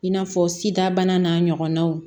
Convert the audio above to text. I n'a fɔ sidabana n'a ɲɔgɔnnaw